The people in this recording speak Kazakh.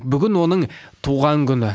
бүгін оның туған күні